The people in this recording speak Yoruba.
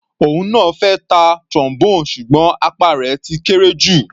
Òun náà fẹ́ ta Trombone ṣùgbọ́n apá rẹ̀ ti kéré jù.